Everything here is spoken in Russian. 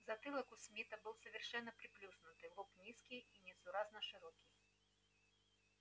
затылок у смита был совершенно приплюснутый лоб низкий и несуразно широкий